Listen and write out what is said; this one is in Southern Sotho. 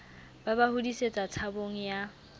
ba ba hodisetsa tshabong ya